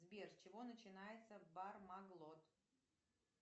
сбер с чего начинается бармаглот